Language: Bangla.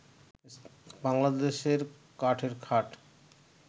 বাংলাদেশের কাঠের খাট